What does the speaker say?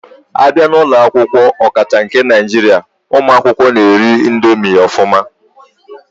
Abia na ulo akwukwo, okacha nke Naijiria, umu akwukwo na eri ya ofuma.